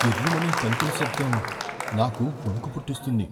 కిర్రుమనే తలుపుల శబ్దం నాకు వణుకు పుట్టిస్తుంది.